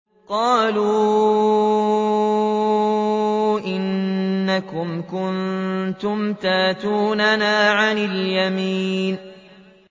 قَالُوا إِنَّكُمْ كُنتُمْ تَأْتُونَنَا عَنِ الْيَمِينِ